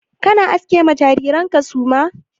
Kana aske ma jariran ka suma?